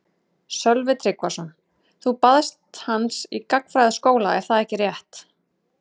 Sölvi Tryggvason: Þú baðst hans í gagnfræðaskóla er það ekki rétt?